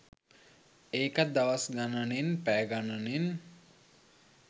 ඒකත් දවස් ගණනෙන් පැය ගණනෙන්